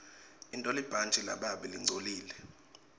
intolibhantji lababe lingcolile